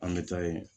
An bɛ taa yen